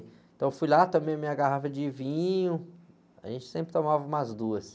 Então, eu fui lá, tomei minha garrafa de vinho, a gente sempre tomava umas duas.